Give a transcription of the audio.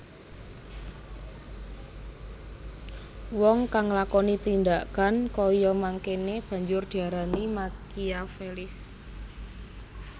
Wong kang nglakoni tindhakan kaya mangkéné banjur diarani Makiavelis